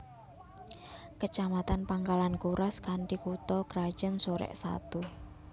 Kecamatan Pangkalan Kuras kanthi kutha krajan Sorek Satu